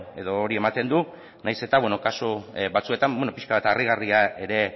edo hori ematen du nahiz eta bueno kasu batzuetan bueno pixka bat harrigarria ere